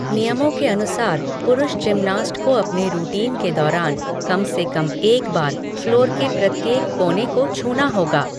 नियमों के अनुसार पुरुष जिमनास्ट को अपने रूटीन के दौरान कम से कम एक बार फ़्लोर के प्रत्येक कोने को छूना होगा।